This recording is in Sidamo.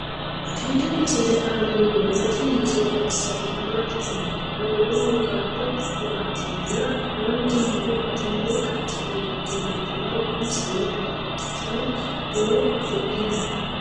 tenne misile aana noorina tini misile xawissannori maati yinummoro lowohu garibbu waatinna haanjja muro batinye qaceenni hige leelittanno. insanno babaxxittinno horo afidhiinno.